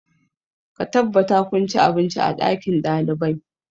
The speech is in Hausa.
Ka tabbata kun ci abinci a ɗakin ɗalibai!